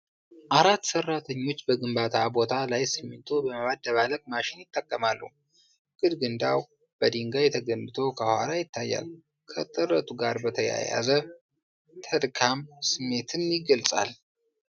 አራት ሠራተኞች በግንባታ ቦታ ላይ ሲሚንቶ በማደባለቅ ማሽን ይጠቀማሉ። ግድግዳው በድንጋይ ተገንብቶ ከኋላ ይታያል። ከጥረቱ ጋር በተያያዘ ተድካም ስሜትን ይገልጻል።